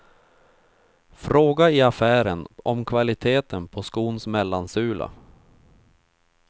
Fråga i affären om kvaliteten på skons mellansula.